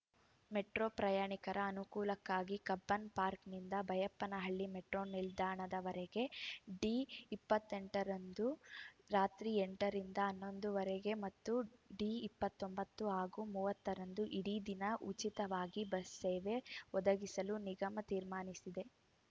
metro ಪ್ರಯಾಣಿಕರ ಅನುಕೂಲಕ್ಕಾಗಿ ಕಬ್ಬನ್‌ಪಾರ್ಕ್ನಿಂದ ಬೈಯಪ್ಪನಹಳ್ಳಿ ಮೆಟ್ರೋ ನಿಲ್ದಾಣದವರೆಗೆ ಡಿ ಇಪ್ಪತ್ತೆಂಟರಂದು ರಾತ್ರಿ ಎಂಟರಿಂದ ಹನ್ನೊಂದುವರೆಗೆ ಮತ್ತು ಡಿ ಇಪ್ಪತ್ತೊಂಬತ್ತು ಹಾಗೂ ಮೂವತ್ತರಂದು ಇಡೀ ದಿನ ಉಚಿತವಾಗಿ ಬಸ್‌ ಸೇವೆ ಒದಗಿಸಲು ನಿಗಮ ತೀರ್ಮಾನಿಸಿದೆ